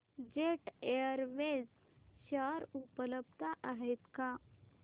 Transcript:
jet Airways share उपलब्ध आहेत का